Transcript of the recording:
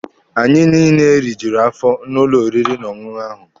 Anyị niile rijuru afọ n'ụlọ oriri n'ọṅụṅụ ahụ.